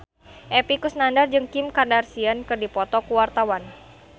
Epy Kusnandar jeung Kim Kardashian keur dipoto ku wartawan